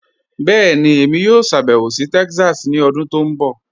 Bẹẹni, èmi yóò ṣàbẹwò sí Texas ni ọ̀dún tó nbọ̀.